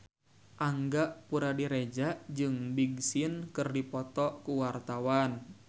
Angga Puradiredja jeung Big Sean keur dipoto ku wartawan